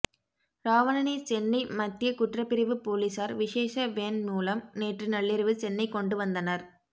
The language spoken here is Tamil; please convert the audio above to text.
ராவணனை சென்னை மத்திய குற்றப்பிரிவு போலீசார் விசேஷ வேன் மூலம் நேற்று நள்ளிரவு சென்னை கொண்டு வந்தனர்